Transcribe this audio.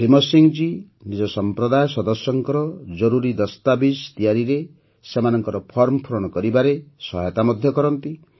ଭୀମ ସିଂହ ଜୀ ନିଜ ସମ୍ପ୍ରଦାୟ ସଦସ୍ୟଙ୍କର ଜରୁରୀ ଦସ୍ତାବିଜ୍ ତିଆରିରେ ସେମାନଙ୍କର ଫର୍ମ ପୂରଣ କରିବାରେ ମଧ୍ୟ ସହାୟତା କରନ୍ତି